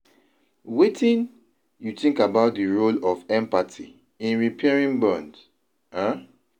Wetin you think about di role of empathy in repairing bonds? um